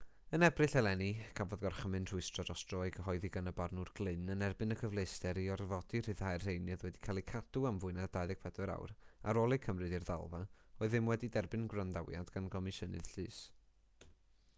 yn ebrill eleni cafodd gorchymyn rhwystro dros dro ei gyhoeddi gan y barnwr glynn yn erbyn y cyfleuster i orfodi rhyddhau'r rheini oedd wedi cael eu cadw am fwy na 24 awr ar ôl eu cymryd i'r ddalfa oedd ddim wedi derbyn gwrandawiad gan gomisiynydd llys